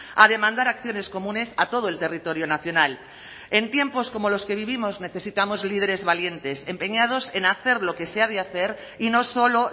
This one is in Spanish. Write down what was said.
a demandar acciones comunes a todo el territorio nacional en tiempos como los que vivimos necesitamos líderes valientes empeñados en hacer lo que se ha de hacer y no solo